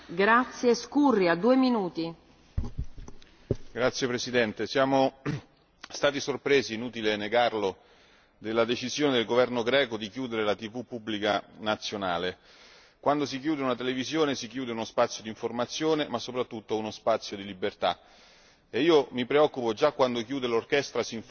Signora Presidente, onorevoli colleghi, siamo stati sorpresi, è inutile negarlo, dalla decisione del governo greco di chiudere la TV pubblica nazionale. Quando si chiude una televisione si chiude uno spazio d'informazione, ma soprattutto uno spazio di libertà e io mi preoccupo già quando chiude l'orchestra sinfonica nazionale greca, figuriamoci quando lo fa la televisione pubblica.